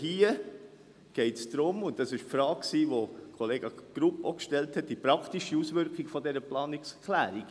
Hier – und das war auch die Frage, die Kollege Grupp gestellt hat – geht es die praktische Auswirkung dieser Planungserklärung.